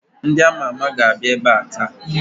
Ndị ama ama ga-abịa ebe a taa